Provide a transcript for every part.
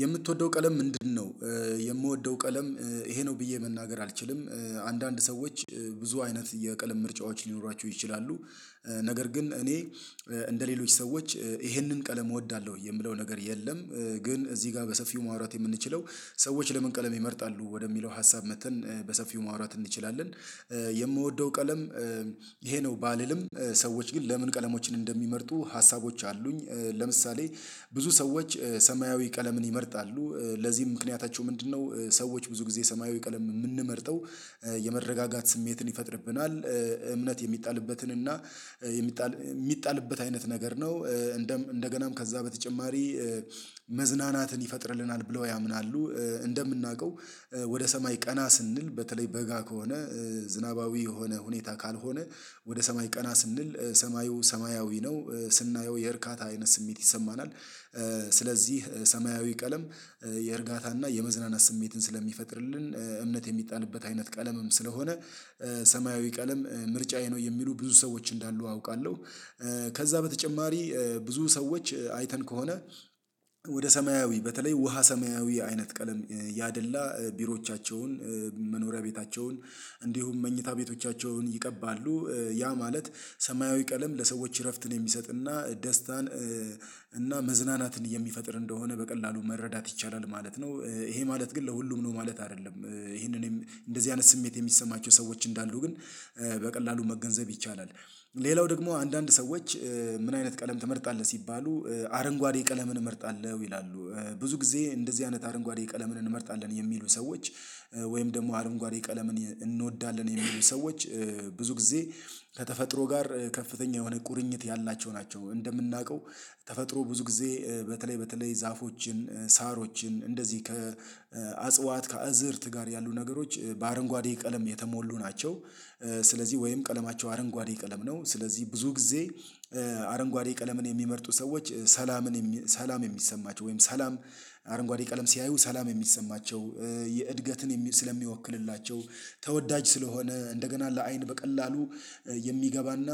የምትወደው ቀለም ምንድነው? የምወደው ቀለም ይሄ ነው ብዬ መናገር አልችልም አንዳንድ ሰዎች ብዙ አይነት የቀለም ምርጫዎች ሊኖራቸው ይችላሉ። ነገር ግን እኔ እንደሌሎች ሰዎች ይሄንን ቀለም እወዳለሁ የምለው ነገር የለም። ግን እዚህ ጋር በሰፊው ማውራት የምንችለው ሰዎች ለመንቀለም ይመርጣሉ ወደሚለው ሀሳብ መጥተን በሰፊው ማውራት እንችላለን። የምወደው ቀለም ይሄ ነው ባልልም ሰዎች ግን ለምን ቀለሞችን እንደሚመርጡ ሀሳቦች አሉኝ። ለምሳሌ ብዙ ሰዎች ሰማያዊ ቀለምን ይመርጣሉ ለዚህም ምክንያታቸው ምንድነው? ሰዎች ብዙ ጊዜ ሰማያዊ ቀለም የምንመርጠው የመረጋጋት ስሜትን ይፈጥርብናል እምነት የሚጣልበትን እና የሚጣል የሚጣልበት አይነት ነገር ነው። እንደገናም ከዛ በተጨማሪ መዝናናትን ይፈጥርልናል ብለው ያምናሉ። እንደምናውቀው ወደ ሰማይ ቀና ስንል በተለይ በጋ ከሆነ ዝናባዊ የሆነ ሁኔታ ካልሆነ ወደ ሰማይ ቀና ስንል ሰማዩ ሰማያዊ ነው ስናየው የእርካታ አይነት ስሜት ይሰማናል። ስለዚህ ሰማያዊ ቀለም የእርጋታና የመዝናናት ስሜትን ስለሚፈጥርልን እምነት የሚጣልበት አይነት ቀለምም ስለሆነ። ሰማያዊ ቀለም ምርጫዬ ነው የሚሉ ብዙ ሰዎች እንዳሉ አውቃለሁ። ከዛ በተጨማሪ ብዙ ሰዎች አይተን ከሆነ ወደ ሰማያዊ በተለይ ውሃ ሰማያዊ አይነት ቀለም ያደላ ቢሮዎቻቸውን መኖሪያ ቤታቸውን እንዲሁም መኝታ ቤቶቻቸውን ይቀባሉ ያ ማለት ሰማያዊ ቀለም ለሰዎች እረፍትን የሚሰጥና ደስታን እና መዝናናትን የሚፈጥር እንደሆነ በቀላሉ መረዳት ይቻላል ማለት ነው። ይሄ ማለት ግን ለሁሉም ነው ማለት አይደለም። ይሄንን እንደዚህ አይነት ስሜት የሚሰማቸው ሰዎች እንዳሉ ግን በቀላሉ መገንዘብ ይቻላል። ሌላው ደግሞ አንዳንድ ሰዎች ምን አይነት ቀለም ትመርጣለህ ሲባሉ አረንጓዴ ቀለምን እመርጣለሁ ይላሉ። ብዙ ጊዜ እንደዚህ አይነት አረንጓዴ ቀለምን እንመርጣለን የሚሉ ሰዎች ወይም ደግሞ አረንጓዴ ቀለምን እንወዳለን የሚሉ ሰዎች ብዙ ጊዜ ከተፈጥሮ ጋር ከፍተኛ የሆነ ቁርኝት ያላቸው ናቸው። እንደምናውቀው ተፈጥሮ ብዙ ጊዜ በተለይ በተለይ ዛፎችን ሳሮችን እንደዚህ ከአጽዋት ከአዝርት ጋር ያሉ ነገሮች በአረንጓዴ ቀለም የተሞሉ ናቸው። ስለዚህ ወይም ቀለማቸው አረንጓዴ ቀለም ነው ስለዚህ ብዙ ጊዜ አረንጓዴ ቀለምን የሚመርጡ ሰዎች ሰላምን ሰላም የሚሰማቸው ወይም ሰላም አረንጓዴ ቀለም ሲያዩ ሰላም የሚሰማቸው የእድገትን ስለሚወክልላቸው ተወዳጅ ስለሆነ እንደገና ለአይን በቀላሉ የሚገባና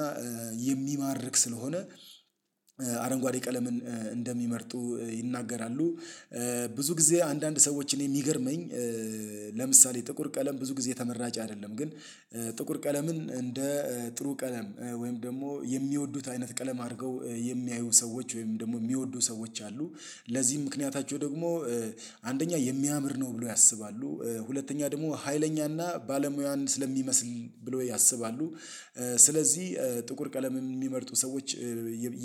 የሚማርክ ስለሆነ አረንጓዴ ቀለምን እንደሚመርጡ ይናገራሉ። ብዙ ጊዜ አንዳንድ ሰዎች እኔ የሚገርመኝ ለምሳሌ ጥቁር ቀለም ብዙ ጊዜ ተመራጭ አይደለም። ግን ጥቁር ቀለምን እንደ ጥሩ ቀለም ወይም ደግሞ የሚወዱት አይነት ቀለም አድርገው የሚያዩ ሰዎች ወይም ደግሞ የሚወዱ ሰዎች አሉ። ለዚህም ምክንያታቸው ደግሞ አንደኛ የሚያምር ነው ብለው ያስባሉ ሁለተኛ ደግሞ ሀይለኛና ባለሙያን ስለሚመስል ብሎ ያስባሉ ስለዚህ ጥቁር ቀለም የሚመርጡ ሰዎች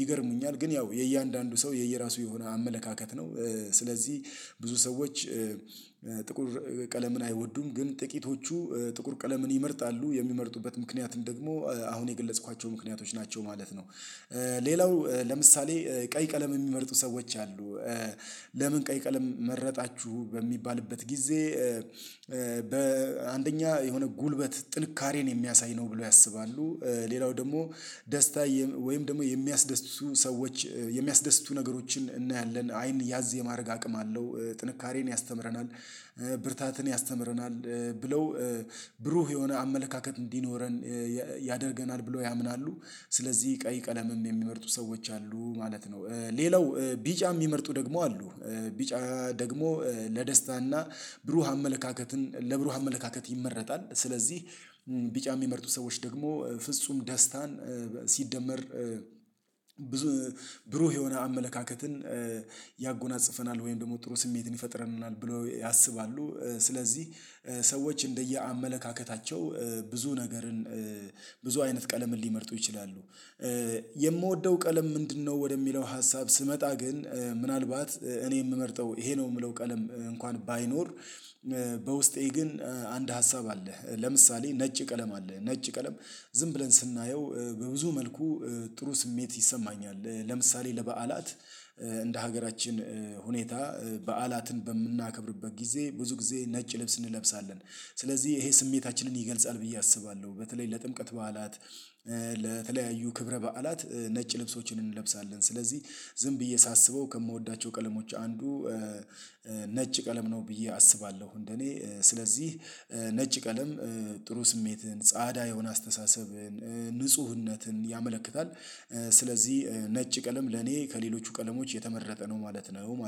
ይገርሙኛል ግን ያው የእያንዳንዱ ሰው የየራሱ የሆነ አመለካከት ነው። ስለዚህ ብዙ ሰዎች ጥቁር ቀለምን አይወዱም ግን ጥቂቶቹ ጥቁር ቀለምን ይመርጣሉ የሚመርጡበት ምክንያት እንደውም አሁን የገለጽኳቸው ምክንያቶች ናቸው ማለት ነው። ሌላው ለምሳሌ ቀይ ቀለም የሚመርጡ ሰዎች አሉ። ለምን ቀይ ቀለም መረጣችሁ በሚባልበት ጊዜ በአንደኛ የሆነ ጉልበት ጥንካሬን የሚያሳይ ነው ብለው ያስባሉ። ሌላው ደግሞ ደስታ ወይም ደግሞ የሚያስደስቱ ሰዎች የሚያስደስቱ ነገሮችን እናያለን አይን ያዝ የማድረግ አቅም አለው ጥንካሬን ያስተምረናል ብርታትን ያስተምረናል ብለው ብሩህ የሆነ አመለካከት እንዲኖረን ያደርገናል ብለው ያምናሉ። ስለዚህ ቀይ ቀለምም የሚመርጡ ሰዎች አሉ ማለት ነው። ሌላው ቢጫ የሚመርጡ ደግሞ አሉ። ቢጫ ደግሞ ለደስታና ብሩህ አመለካከትን ለብሩህ አመለካከት ይመረጣል ስለዚህ ቢጫ የሚመርጡ ሰዎች ደግሞ ፍጹም ደስታን ሲደመር ብዙ ብሩህ የሆነ አመለካከትን ያጎናጽፈናል ወይም ደግሞ ጥሩ ስሜትን ይፈጥረናል ብለው ያስባሉ። ስለዚህ ሰዎች እንደየአመለካከታቸው ብዙ ነገርን ብዙ አይነት ቀለምን ሊመርጡ ይችላሉ። የምወደው ቀለም ምንድነው ወደሚለው ሀሳብ ስመጣ ግን ምናልባት እኔ የምመርጠው ይሄ ነው የምለው ቀለም እንኳን ባይኖር። በውስጤ ግን አንድ ሀሳብ አለ። ለምሳሌ ነጭ ቀለም አለ ነጭ ቀለም ዝም ብለን ስናየው በብዙ መልኩ ጥሩ ስሜት ይሰማኛል ለምሳሌ ለበዓላት እንደ ሀገራችን ሁኔታ በዓላትን በምናከብርበት ጊዜ ብዙ ጊዜ ነጭ ልብስ እንለብሳለን። ስለዚህ ይሄ ስሜታችንን ይገልጻል ብዬ አስባለሁ በተለይ ለጥምቀት በዓላት ለተለያዩ ክብረ በዓላት ነጭ ልብሶችን እንለብሳለን ስለዚህ ዝም ብዬ ሳስበው ከምወዳቸው ቀለሞች አንዱ ነጭ ቀለም ነው ብዬ አስባለሁ። እንደኔ ስለዚህ ነጭ ቀለም ጥሩ ስሜትን ጻአዳ የሆነ አስተሳሰብን ንጽህናን ያመለክታል። ስለዚህ ነጭ ቀለም ለኔ ከሌሎቹ ቀለሞች የተመረጠ ነው ማለት ነው